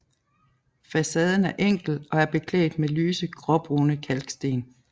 Facaden er enkel og er beklædt med lyse gråbrune kalksten